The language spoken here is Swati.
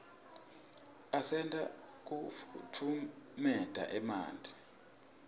asita kufutfumietia emanti